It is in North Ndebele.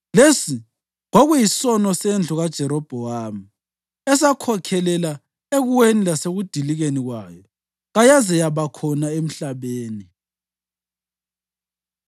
Lesi kwakuyisono sendlu kaJerobhowamu esakhokhelela ekuweni lasekudilikeni kwayo kayaze yaba khona emhlabeni.